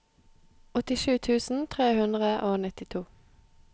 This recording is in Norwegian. åttisju tusen tre hundre og nittito